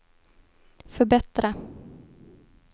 förbättra